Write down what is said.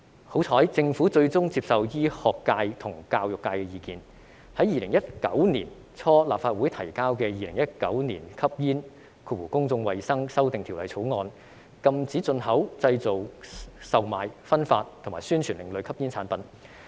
幸好，政府最終接受醫學界和教育界的意見，在2019年初向立法會提交的《2019年吸煙條例草案》，禁止進口、製造、售賣、分發和宣傳另類吸煙產品。